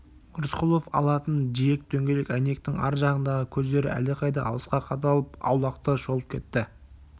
рысқұловтың алтын жиек дөңгелек әйнектің ар жағындағы көздері әлдеқайда алысқа қадалып аулақты шолып кетті